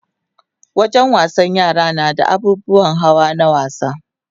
Wajen wasan yara nada abubuwan hawa na wasa